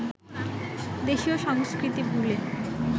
দেশীয় সংস্কৃতি ভুলে